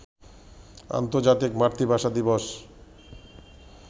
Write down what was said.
আন্তর্জাতিক মাতৃভাষা দিবস